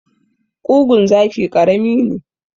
Ƙugun zaki karami ne.